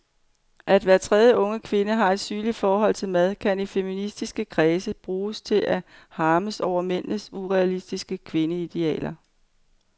At hver tredje unge kvinde har et sygeligt forhold til mad kan i feministiske kredse bruges til at harmes over mændenes urealistiske kvindeideal.